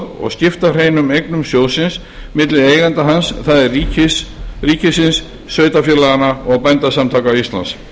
og skipta hreinum eignum sjóðsins milli eigenda hans það er ríkisins sveitarfélaganna og bændasamtaka íslands